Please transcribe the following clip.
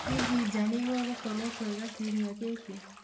hĩhĩ nja nigugukorwo kwega kĩumĩa giki